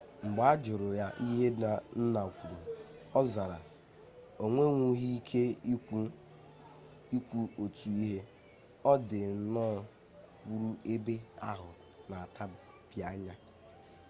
mgbe a jụrụ ya ihe nna kwuru ọ zara o nwenwughị ike ikwu otu ihe ọ dị nnọọ kwụrụ ebe ahụ na-atabianya